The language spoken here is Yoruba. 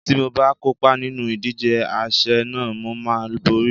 Tí mo bá kópa nínú ìdíje àsè náà, mo máa borí.